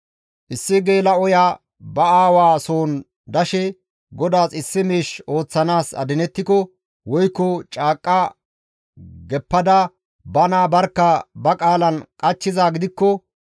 «Issi geela7oya ba aawa soon dashe GODAAS issi miish ooththanaas adinettiko woykko caaqqa geppada bana barkka ba qaalan qachchizaa gidikko,